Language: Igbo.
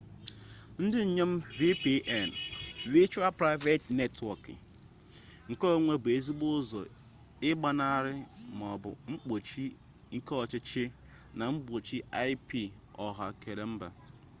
ndị nnyem vpn virtual private network keonwe bụ ezigbo ụzọ ịgbanaha ma mgbochi ke ọchiọhcị na mgbochi ip ọha keala mba